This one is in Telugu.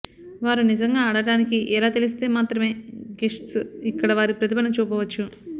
వారు నిజంగా ఆడటానికి ఎలా తెలిస్తే మాత్రమే గెస్ట్స్ ఇక్కడ వారి ప్రతిభను చూపవచ్చు